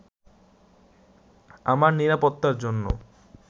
আমার নিরাপত্তার জন্য